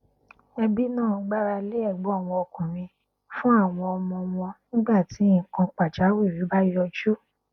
ẹbí náà gbára lé ẹgbọn wọn ọkùnrin fún àwọn ọmọ wọn nígbà tí nnkan pàjáwìrì bá yọjú